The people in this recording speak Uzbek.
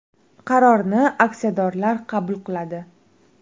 Qarorni aksiyadorlar qabul qiladi.